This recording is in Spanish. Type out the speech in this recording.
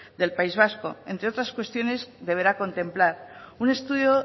del país vasco entre otras cuestiones deberá contemplar un estudio